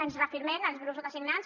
ens reafirmem els grups sotasignants